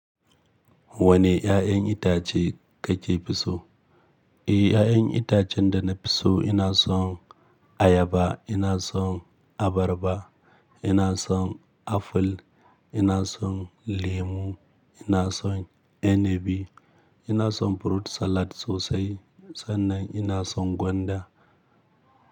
Wane ƴaƴan itace kake so? E, ƴaƴan itacen da na fi so, ina son ayaba, ina son abarba, ina son aful, ina son lemu, ina son inabi, ina son fruit salad sosai sannan ina son gwanda.